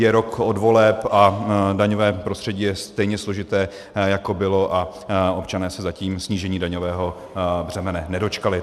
Je rok od voleb a daňové prostředí je stejně složité, jako bylo, a občané se zatím snížení daňového břemene nedočkali.